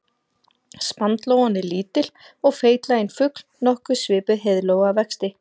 Sandlóan er lítill og feitlaginn fugl nokkuð svipuð heiðlóu að vexti.